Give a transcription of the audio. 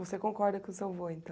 Você concorda com o seu avô, então?